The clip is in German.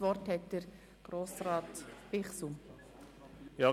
Das Wort hat Grossrat Bichsel.